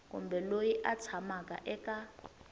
kumbe loyi a tshamaka eka